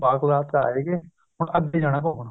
ਬਾਲਕਨਾਥ ਤੋਂ ਆ ਵੀ ਗਏ ਹੁਣ ਅੱਗੇ ਜਾਣਾ ਘੁੰਮਣ